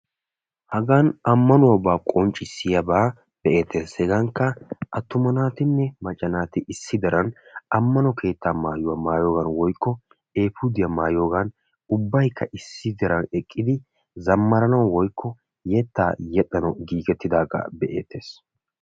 hagan ammanuwaaba qonccisiyaagaa be'eetees. hegankka attuma naatinne macca naati amano keettaa maayuwa maayiyoogan woykko eepuudiya maayiyoogan ubbaykka zammaranawu woykko yetaa yexxanawu